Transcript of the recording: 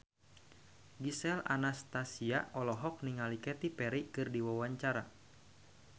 Gisel Anastasia olohok ningali Katy Perry keur diwawancara